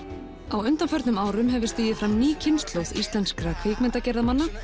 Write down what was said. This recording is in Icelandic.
á undanförnum árum hefur stigið fram ný kynslóð kvikmyndagerðarmanna